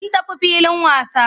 Sun tafi filin wasa.